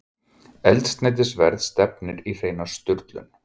Eldsneytisverð stefnir í hreina sturlun